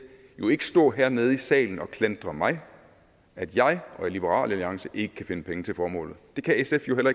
jo ikke stå hernede i salen og klandre mig at jeg og liberal alliance ikke kan finde penge til formålet det kan sf jo